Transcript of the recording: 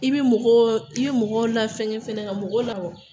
I bi mɔgɔw, i bi mɔgɔw lafɛngɛ fɛnɛ ka mɔgɔ la